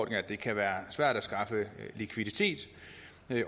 at det kan være svært at skaffe likviditet